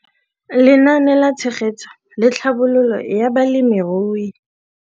Lenaane la Tshegetso le Tlhabololo ya Balemirui